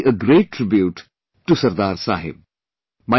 This will be a great tribute to Sardar Sahib